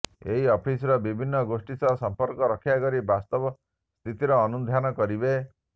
ଏହି ଅଫିସର ବିଭିନ୍ନ ଗୋଷ୍ଠୀ ସହ ସମ୍ପର୍କ ରକ୍ଷା କରି ବାସ୍ତବ ସ୍ଥିତିର ଅନୁଧ୍ୟାନ କରିବେ